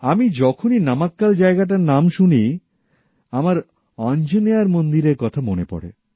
আমি যখনই নামাক্কাল জায়গাটার নাম শুনি আমার অঞ্জনেয়ার মন্দিরের কথা মনে পড়ে